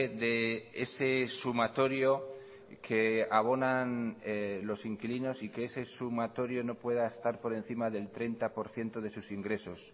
de ese sumatorio que abonan los inquilinos y que ese sumatorio no pueda estar por encima del treinta por ciento de sus ingresos